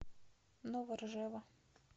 новоржева